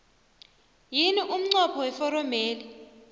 yini umnqopho weforomeli